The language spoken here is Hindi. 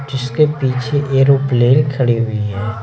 जिसके पीछे एरोप्लेन खड़ी हुई हैं।